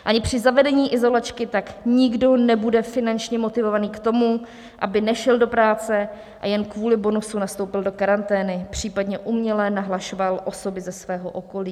Ani při zavedení izolačky tak nikdo nebude finančně motivován k tomu, aby nešel do práce a jen kvůli bonusu nastoupil do karantény, případně uměle nahlašoval osoby ze svého okolí.